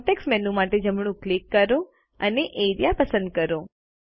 context menu માટે જમણું click કરો અને એઆરઇએ પસંદ કરો